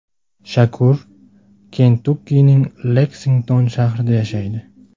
Shakur Kentukkining Leksington shahrida yashaydi.